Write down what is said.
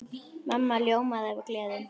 Mamma ljómaði af gleði.